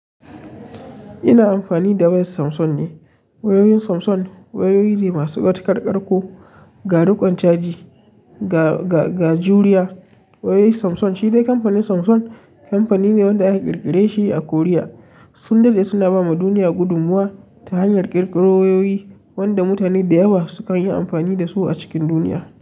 Ina amfani da wayar Samsung ne. Wayoyin Samsung wayoyi ne masu matukar ƙarƙo, ga riƙon caji, ga, ga, ga juriya. Wayoyi Samsung shi dai kamfanin Samsung kamfani ne wanda aka ƙirƙire shi a Korea. Sun daɗe suna ba ma duniya gudummuwa ta hanyar ƙirƙiro wayoyi wanda mutane da yawa sukan yi amfani da su a cikin duniya.